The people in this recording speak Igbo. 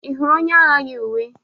Ị hụrụ onye agha yi uwe?